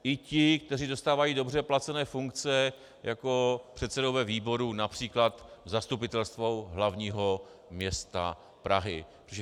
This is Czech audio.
I ty, kteří zastávají dobře placené funkce, jako předsedové výborů, například zastupitelstvo hlavního města Prahy.